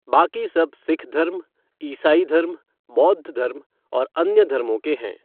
बाकी सब सिख धर्म, ईसाई धर्म, बौद्ध धर्म और अन्य धर्मों के हैं।